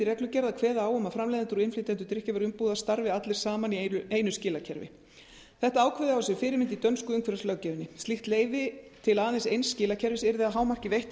reglugerð að kveða á um að framleiðendur og innflytjendur drykkjarvöruumbúða starfi allir saman í einu skilakerfi þetta ákvæði á sér fyrirmynd í dönsku umhverfislöggjöfinni slíkt leyfi til aðeins eins skilakerfis yrði að hámarki veitt til